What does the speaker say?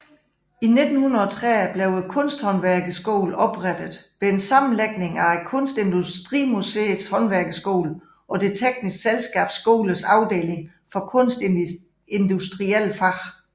I 1930 blev Kunsthåndværkerskolen oprettet ved en sammenlægning af Kunstindustrimuseets Håndværkerskole og Det tekniske Selskabs Skolers afdeling for kunstindustrielle fag